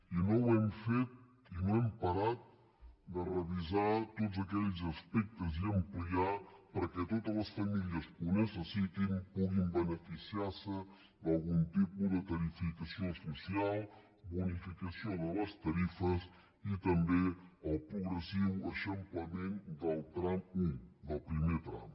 i no hem parat de revisar tots aquells aspectes i ampliar perquè totes les famílies que ho necessitin puguin beneficiar se d’algun tipus de tarifació social bonificació de les tarifes i també el progressiu eixamplament del tram un del primer tram